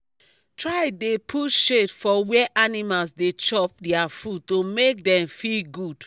try dey put shade for where animals dey chop dia food to make dem feel good